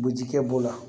Bujikɛ b'o la